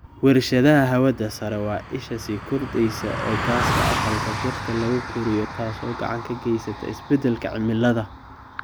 Wershadaha hawada sare waa isha sii kordheysa ee gaaska aqalka dhirta lagu koriyo taasoo gacan ka geysata isbedelka cimilada.